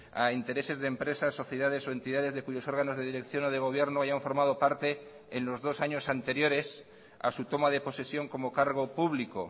a intereses de empresas sociedades o entidades de cuyos órganos de dirección o de gobierno hayan formado parte en los dos años anteriores a su toma de posesión como cargo público